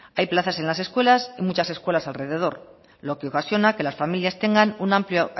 hay plazas en las escuelas y muchas escuelas alrededor lo que ocasiona que las familias tengan un amplio